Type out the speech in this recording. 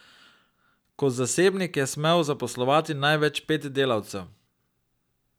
Kot zasebnik je smel zaposlovati največ pet delavcev.